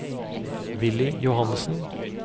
Willy Johannessen